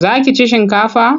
Za ki ci shinkafa?